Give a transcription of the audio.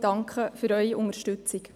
Ich danke für Ihre Unterstützung.